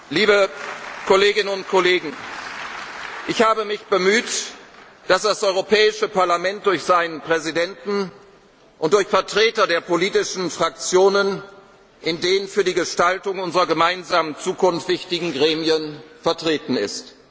sein. Liebe Kolleginnen und Kollegen, ich habe mich darum bemüht, dass das Europäische Parlament durch seinen Präsidenten und durch Vertreter der politischen Fraktionen in den für die Gestaltung unserer gemeinsamen Zukunft wichtigen Gremien vertreten